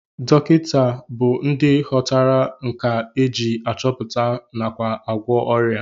Ndị dọkịta bụ ndị ghọtara nkà e ji achọpụta nakwa agwọ ọrịa